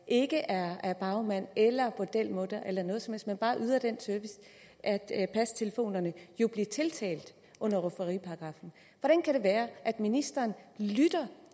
ikke er bagmænd eller bordelmuttere eller noget som men bare yder den service at passe telefonerne blive tiltalt under rufferiparagraffen hvordan kan det være at ministeren lytter